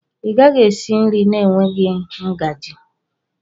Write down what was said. Ị gaghị esi nri na-enweghị ngaji.